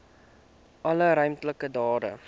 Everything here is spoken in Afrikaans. alle ruimtelike data